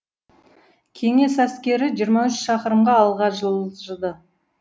кеңес әскері жиырма үш шақырымға алға жылжыды